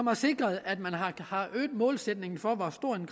har sikret at man har øget målsætningen for hvor stor en